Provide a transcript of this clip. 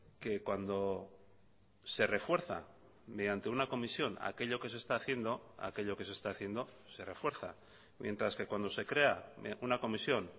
que cuando se refuerza mediante una comisión aquello que se está haciendo aquello que se está haciendo se refuerza mientras que cuando se crea una comisión